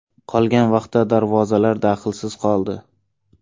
Qolgan vaqtda darvozalar daxlsiz qoldi.